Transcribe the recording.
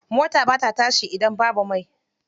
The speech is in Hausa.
Mota ba ta tashi idan babu mai.